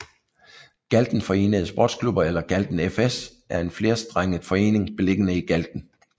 Galten Forenede Sportsklubber eller Galten FS er en flerstrenget forening beliggende i Galten